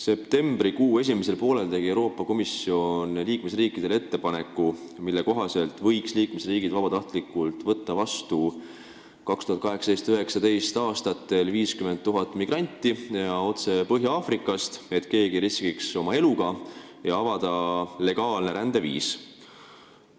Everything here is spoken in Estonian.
Septembrikuu esimesel poolel tegi Euroopa Komisjon liikmesriikidele ettepaneku, mille kohaselt võiks liikmesriigid vabatahtlikult võtta 2018. ja 2019. aastal vastu 50 000 migranti ja otse Põhja-Aafrikast, nii et keegi ei peaks enam oma eluga riskima, ja sellega avataks legaalne rändeviis.